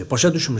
Başa düşmürsən?